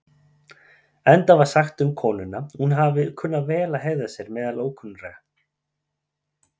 Enda var sagt um konuna að hún hafi kunnað vel að hegða sér meðal ókunnugra.